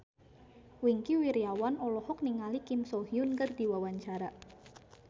Wingky Wiryawan olohok ningali Kim So Hyun keur diwawancara